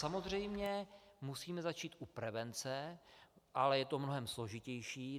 Samozřejmě musíme začít u prevence, ale je to mnohem složitější.